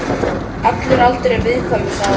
Allur aldur er viðkvæmur, sagði hann.